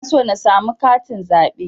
Ina so na samu katin zaɓe